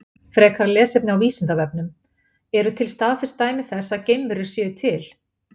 Frekara lesefni á Vísindavefnum: Eru til staðfest dæmi þess að geimverur séu til?